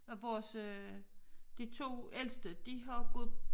Og vores øh de 2 ældste de har gået